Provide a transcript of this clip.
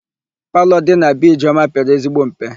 Palọ dị na be Ijeọma pere ezigbo mpe.